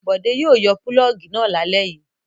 Bọ̀dé yóò yọ pulọ́ọ́gì náà lálẹ́ yìí.